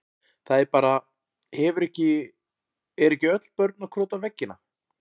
Það er bara, hefur ekki, eru ekki öll börn að krota á veggina?